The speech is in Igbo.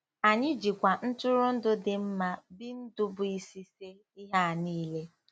Anyị jikwa ntụrụndụ dị mma bNdubuisice ihe a niile.